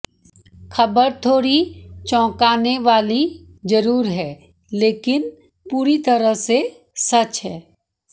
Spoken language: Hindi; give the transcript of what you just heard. खबर थोड़ी चौंकाने वाली ज़रूर है लेकिन पूरी तरह से सच है